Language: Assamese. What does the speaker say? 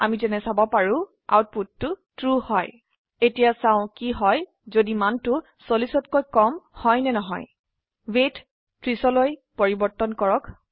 আমি যেনে চাব পাৰো আউটপুটটো ট্ৰু হয় এতিয়া চাও কি হয় যদি মান 40তকৈ কম হয় ৱেইট 30 লৈ পৰিবৰ্তন কৰক